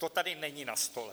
To tady není na stole.